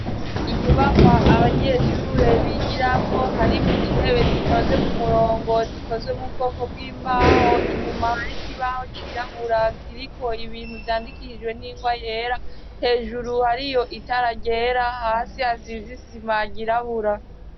Inyubakwa abanyeshure bigiramwo harimwo intebe zitonze ku murongo zikozwe m'ubwoko bw'imbaho inyuma hari ikibaho cirabura kiriko ibintu vyandikishijwe n'ingwa yera hejuru hariyo itara ryera hasi hasi hasize isima ryirabura.